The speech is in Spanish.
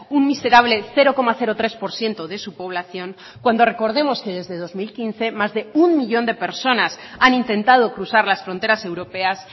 un miserable cero coma tres por ciento de su población cuando recordemos que desde dos mil quince más de uno millón de personas han intentado cruzar las fronteras europeas